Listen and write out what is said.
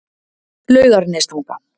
Laugarnestanga